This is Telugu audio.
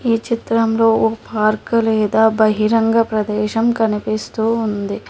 ఈ చిత్రంలో భార్గలేదా బహిరంగ ప్రదేశం కనిపిస్తూ ఉంది